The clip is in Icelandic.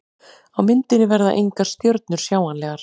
Á myndinni verða engar stjörnur sjáanlegar.